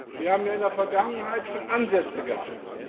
Wir haben ja in der Vergangenheit schon Ansätze gehabt.